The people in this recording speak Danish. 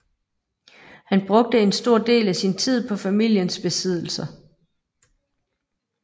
Han brugte en stor del af sin tid på familiens besiddelser